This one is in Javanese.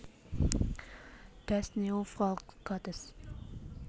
Das neue Volk Gottes